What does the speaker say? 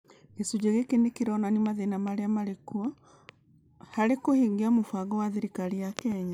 Gĩcunjĩ gĩkĩ nĩ kĩronania mathĩna marĩa marĩ kuo harĩ kũhingia mĩbango ya thirikari ya Kenya.